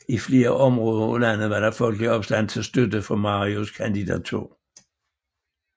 I flere områder af landet var der folkelig opstand til støtte for Marias kandidatur